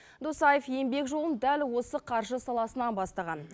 досаев еңбек жолын дәл осы қаржы саласынан бастаған